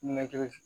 Na kɛ